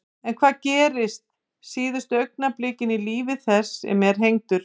En hvað gerist síðustu augnablikin í lífi þess sem er hengdur?